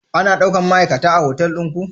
Ana daukan ma'aikata a hotal ɗin ku?